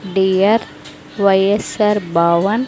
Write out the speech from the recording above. Dear Y S R Bhavan.